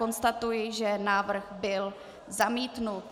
Konstatuji, že návrh byl zamítnut.